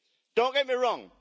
Don't get me wrong.